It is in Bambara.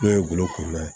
N'o ye golo kɔrɔ ye